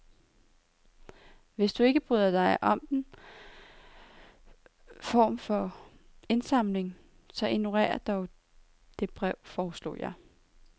Hvis du ikke bryder dig om den form for indsamling, så ignorer dog det brev, foreslog jeg.